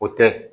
O tɛ